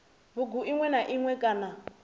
bugu iṅwe na iṅwe kana